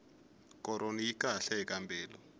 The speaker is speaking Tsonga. koroni yi kahle eka mbilu